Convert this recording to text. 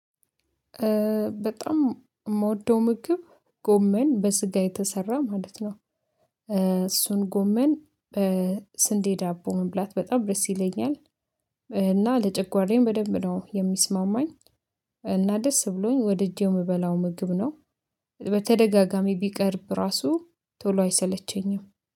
በጣም የምወደው ምግብ ጎመን በስጋ የተሰራ ማለት ነው። እሱን ጎመን በስንዴ ዳቦ መብላት በጣም ደስ ይለኛል። እና ለጨጓራዬም በደንብ ነው የሚስማማኝ። እና ደስ ብሎኝ ወደጄው የምበላው ምግብ ነው። በተደጋጋሚ ቢቀርብ ራሱ ቶሎ አይሰለቸኝም